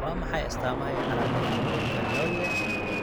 Waa maxay astaamaha iyo calaamadaha cudurka Norrie?